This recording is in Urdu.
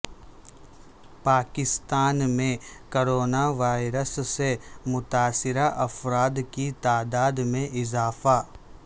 پاکستان میں کرونا وائرس سے متاثرہ افراد کی تعداد میں اضافہ